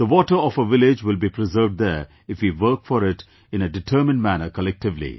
The water of a village will be preserved there if we work for it in a determined manner collectively